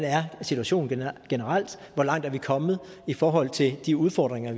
situationen er generelt hvor langt vi er kommet i forhold til de udfordringer